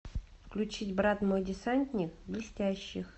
включить брат мой десантник блестящих